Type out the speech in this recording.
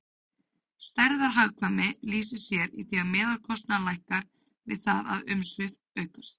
Stærðarhagkvæmni lýsir sér í því að meðalkostnaður lækkar við það að umsvif aukast.